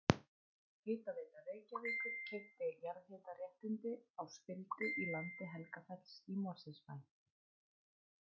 Hitaveita Reykjavíkur keypti jarðhitaréttindi á spildu í landi Helgafells í Mosfellsbæ.